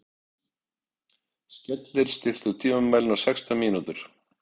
Skellir, stilltu tímamælinn á sextán mínútur.